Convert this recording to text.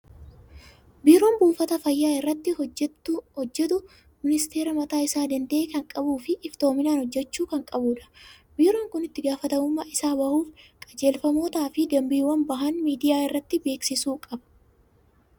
Biiroon buufata fayyaa irratti hojjetu ministeera mataa isaa danda'e kan qabuu fi iftoominaan hojjechuu kan qabudha. Biiroon kun itti gaafatamummaa isaa bahuuf qajeelfamootaa fi dambiiwwan bahan miidiyaa irratti beeksisuu qaba.